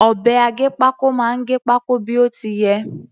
Ọ̀bẹ aggépákó máa gẹ pákó bí ó ti yẹ.